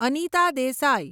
Anita Desai